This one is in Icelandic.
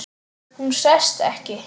Hún sest ekki.